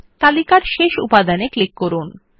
তালিকায় শেষ উপাদানে ক্লিক করুন